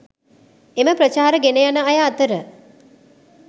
එම ප්‍රචාර ගෙන යන අය අතර